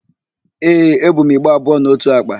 Ee, ebu m igbe abụọ na ótù àkpà.